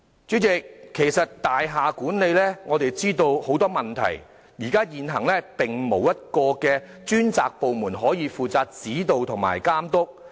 主席，我們知道大廈管理存在很多問題，現行並沒有一個專責部門負責指導及監督。